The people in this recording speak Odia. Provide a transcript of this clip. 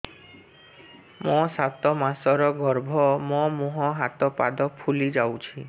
ମୋ ସାତ ମାସର ଗର୍ଭ ମୋ ମୁହଁ ହାତ ପାଦ ଫୁଲି ଯାଉଛି